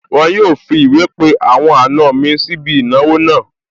Wọn yóò fi ìwé pe àwọn àna mi sí ibi ìnáwó náà